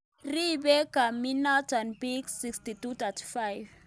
Ribe kambiinoto biik 6235